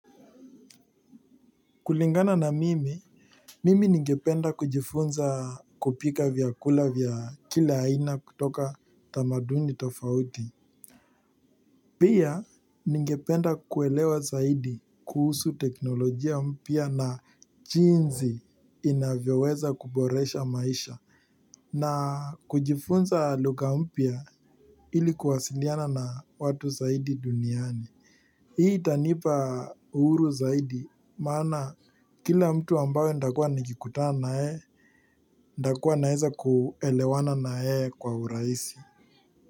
Kulingana na mimi, mimi ningependa kujifunza kupika vyakula vya kila aina kutoka tamaduni tofauti. Pia ningependa kuelewa zaidi kuhusu teknolojia mpya na jinsi inavyoweza kuboresha maisha na kujifunza lugha mpya ili kuwasiliana na watu zaidi duniani. Hii itanipa uhuru zaidi, maana kila mtu ambayo ntakua nikikutana na yeye, ntakua naeza kuelewana na yeye kwa uraisi.